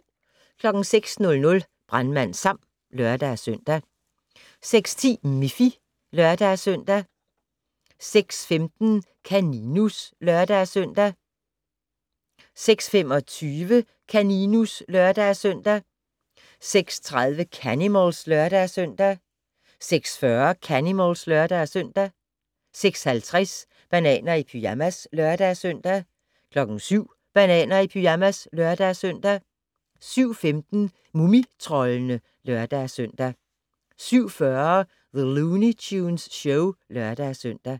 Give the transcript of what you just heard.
06:00: Brandmand Sam (lør-søn) 06:10: Miffy (lør-søn) 06:15: Kaninus (lør-søn) 06:25: Kaninus (lør-søn) 06:30: Canimals (lør-søn) 06:40: Canimals (lør-søn) 06:50: Bananer i pyjamas (lør-søn) 07:00: Bananer i pyjamas (lør-søn) 07:15: Mumitroldene (lør-søn) 07:40: The Looney Tunes Show (lør-søn)